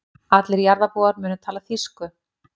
Allir jarðarbúar munu tala þýsku.